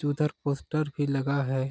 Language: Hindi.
उधर पोस्टर भी लगा हैं।